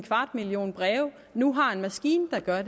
kvart million breve nu har en maskine der gør